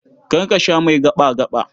Kar ka sha mai gaɓa-gaɓa.